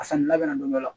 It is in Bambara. A sanni labɛn na don dɔ la